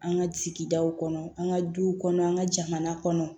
An ka sigidaw kɔnɔ an ka duw kɔnɔ an ka jamana kɔnɔ